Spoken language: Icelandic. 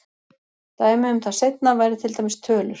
Dæmi um það seinna væri til dæmis tölur.